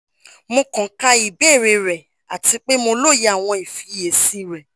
mo kan ka ibeere rẹ ati pe mo loye awọn ifiyesi rẹ